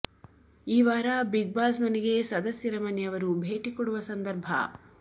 ಈ ವಾರ Bigg Boss ಮನಗೆ ಸದಸ್ಯರ ಮನೆಯವರು ಭೇಟಿ ಕೊಡುವ ಸಂದರ್ಭ